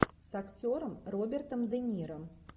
с актером робертом де ниро